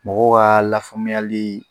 Mɔgɔw ka lafaamuyali